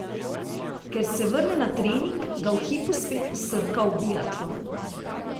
Ko se vrne na trening, ga v hipu spet posrka v biatlon.